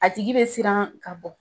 A tigi bɛ siran ka bɔ